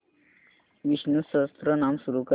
विष्णु सहस्त्रनाम सुरू कर